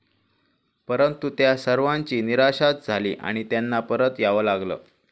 परंतु त्या सर्वांची निराशाच झाली आणि त्यांना परत यावं लागलं.